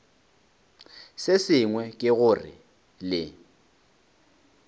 se sengwe ke gore le